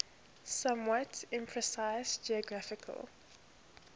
somewhat imprecise geographical